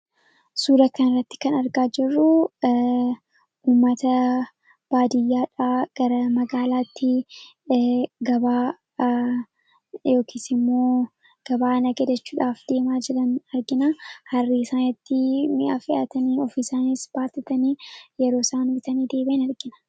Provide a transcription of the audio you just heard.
Suura kana irratti kan argaa jirru uumata baadiyyaadhaa gara magaalaatti gabaa yookiis immoo gabaaa nagadachuudhaaf deemaa jiran argina. Harree isaanitti mi'a fe'atanii ofiisaanis baattatanii yeroo isaan bitanii deebi'an argina.